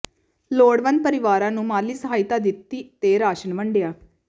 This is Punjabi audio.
ਲੋੜਵੰਦ ਪਰਿਵਾਰਾਂ ਨੰੂ ਮਾਲੀ ਸਹਾਇਤਾ ਦਿੱਤੀ ਤੇ ਰਾਸ਼ਨ ਵੰਡਿਆ